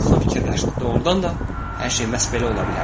Yason fikirləşdi, doğrudan da hər şey məhz belə ola bilərdi.